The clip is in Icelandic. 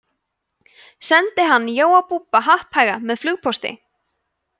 sendi hann jóa búbba happhæga með flugpósti